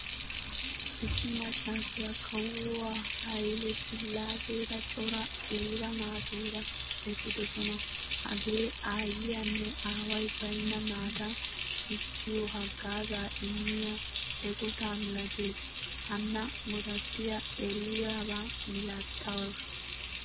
Issi maccasiyaa kawuwa haile silasera coraa qiiba naaturaa eqqidosona. Hagee aayiyaanne aaway baynna naata dichchiyo haggaaza immiya eqqotta milattees. Hanna godattiyaa eriyaba milatees.